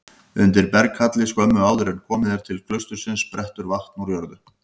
Undir berghalli skömmu áður en komið er til klaustursins sprettur vatn úr jörðu.